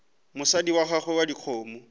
mosadi wa gago wa dikgomo